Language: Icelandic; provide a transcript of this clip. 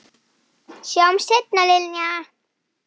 Sjáumst seinna, Linja.